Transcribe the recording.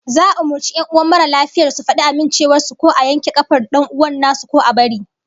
Za'a umurci 'yan uwan mara lafiyar su fadi amincewar su ko a yanke kafar dan'uwan nasu, ko a bari